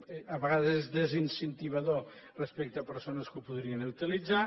eh a vegades és desincentivador respecte a persones que ho podrien utilitzar